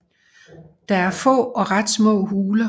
Der er er få og ret små huler